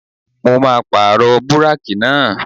Mo máa pàrọ̀ búrákì náà.